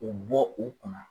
O bɔ o kunna.